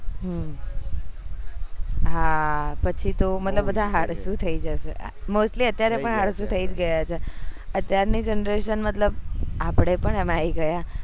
હમ હા પછી તો મતલબ આળસુ થઇ જશે mostly અત્યારે પણ આળસુ થઇ જ ગયા છે અત્યાર ની generation મતલબ આપડે પણ એમાં આવી ગયા